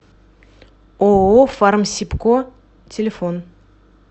ооо фармсибко телефон